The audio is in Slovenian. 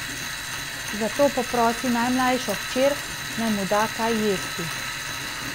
Zato poprosi najmlajšo hčer, naj mu da kaj jesti.